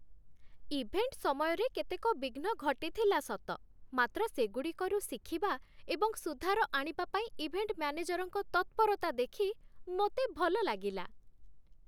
Event ସମୟରେ କେତେକ ବିଘ୍ନ ଘଟିଥିଲା ସତ, ମାତ୍ର ସେଗୁଡ଼ିକରୁ ଶିଖିବା ଏବଂ ସୁଧାର ଆଣିବା ପାଇଁ ଇଭେଣ୍ଟ ମ୍ୟାନେଜରଙ୍କ ତତ୍ପରତା ଦେଖି ମୋତେ ଭଲ ଲାଗିଲା।